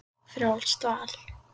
Frjálst val!